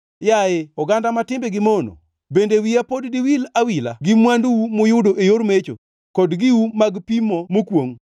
Yaye oganda ma timbegi mono, bende wiya pod diwil awila gi mwandu-u muyudo e yor mecho, kod giu mag pimo mokwongʼ?